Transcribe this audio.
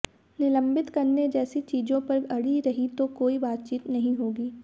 निलंबित करने जैसी चीजों पर अड़ी रही तो कोई बातचीत नहीं होगी